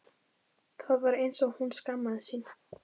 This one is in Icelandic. Það var eins og hún skammaðist sín.